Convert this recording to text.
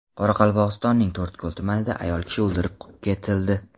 Qoraqalpog‘istonning To‘rtko‘l tumanida ayol kishi o‘ldirib ketildi.